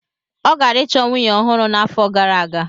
Ọ gara ịchọ nwunye ọhụrụ n'afọ gara aga.